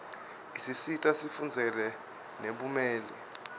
isisita sifundzele nebumeli